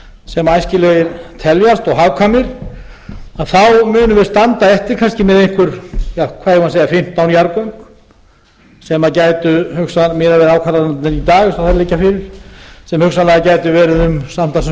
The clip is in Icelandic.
sem æskilegir teljast og hagkvæmir þá munum við standa eftir kannski með einhver ja hvað eigum við að segja fimmtán jarðgöng sem gætu hugsanlega miðað við ákvarðanirnar í dag eins og þær liggja fyrir sem hugsanlega gætu verið samtals um